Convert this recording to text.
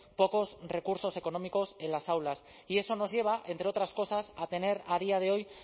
pocos recursos económicos en las aulas y eso nos lleva entre otras cosas a tener a día de hoy